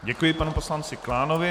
Děkuji panu poslanci Klánovi.